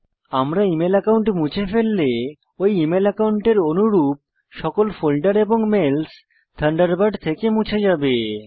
আমরা email account মুছে ফেললে ঐ ইমেল একাউন্টের অনুরূপ সকল ফোল্ডার এবং মেলস থান্ডারবার্ড থেকে মুছে যাবে